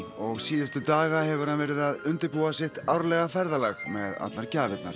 og síðustu daga hefur hann verið að undirbúa sitt árlega ferðalag með allar gjafirnar